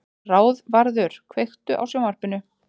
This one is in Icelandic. Ráðvarður, kveiktu á sjónvarpinu.